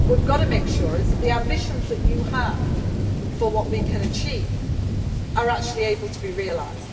We have got to make sure that the ambitions that you have for what we can achieve can actually be realised.